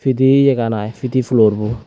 pidiyegan ai pidi flor bo.